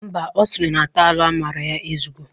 Mba, ọ siri na tailu amara ya ezugo.